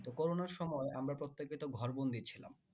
তো করোনার সময় আমরা প্রত্যেকে তো ঘর বন্দি ছিলাম